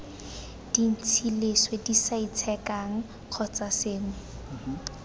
dintsi leswe disaitshekang kgotsa sengwe